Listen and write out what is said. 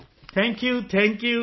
thank you thank you